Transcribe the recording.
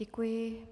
Děkuji.